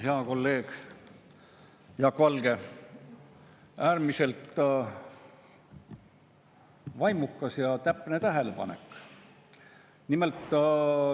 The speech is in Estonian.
Hea kolleeg Jaak Valge, äärmiselt vaimukas ja täpne tähelepanek.